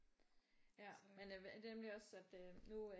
Ja det er nemlig også at øh nu